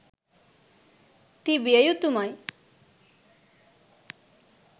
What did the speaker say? තිබිය යුතුමයි.